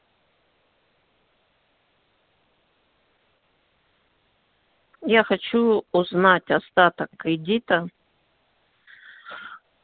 я хочу узнать остаток кредита